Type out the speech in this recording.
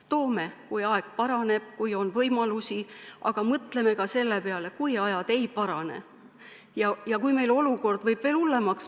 Toome, kui aeg paraneb ja kui on võimalusi, aga mõtleme ka selle peale, mis saab siis, kui ajad ei parane ja olukord läheb veel hullemaks.